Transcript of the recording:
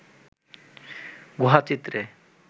গুহা চিত্রে